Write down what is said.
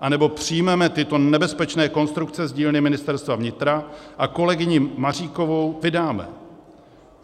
anebo přijmeme tyto nebezpečné konstrukce z dílny Ministerstva vnitra a kolegyni Maříkovou vydáme.